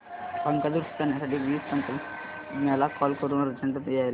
पंखा दुरुस्त करण्यासाठी वीज तंत्रज्ञला कॉल करून अर्जंट यायला सांग